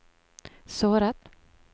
såret